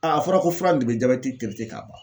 a fɔra ko fura in de bɛ jabɛti k'a ban